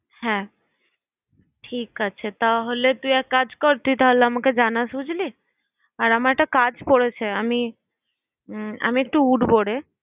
হ্যাঁ ঠিক আছে। তাহলে তুই এক কাজ কর, তুই তাহলে আমাকে জানাস বুঝলি? আর আমার একটা কাজ পরেছে, আমি উম আমি একটু উঠবোরে।